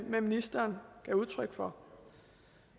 med ministeren gav udtryk for